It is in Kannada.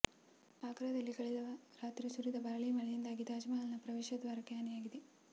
ಆಗ್ರಾದಲ್ಲಿ ಕಳೆದ ರಾತ್ರಿ ಸುರಿದ ಭಾರೀ ಮಳೆಯಿಂದಾಗಿ ತಾಜ್ ಮಹಲ್ ನ ಪ್ರವೇಶ ದ್ವಾರಕ್ಕೆ ಹಾನಿಯಾಗಿದೆ